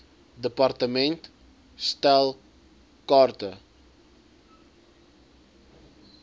department stel kaarte